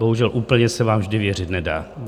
Bohužel, úplně se vám vždy věřit nedá.